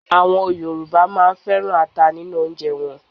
Àwọn Yorùbá á máa féràn ata nínú oúnjẹ wọn.